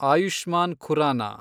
Ayushman Khurana